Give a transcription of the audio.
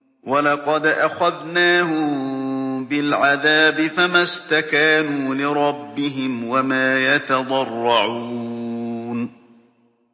وَلَقَدْ أَخَذْنَاهُم بِالْعَذَابِ فَمَا اسْتَكَانُوا لِرَبِّهِمْ وَمَا يَتَضَرَّعُونَ